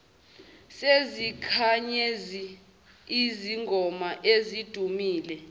sezinkanyezi izingoma ezidumile